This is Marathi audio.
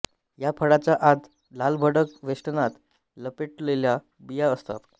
या फळाच्या आत लालभडक वेष्टनात लपेटलेल्या बिया असतात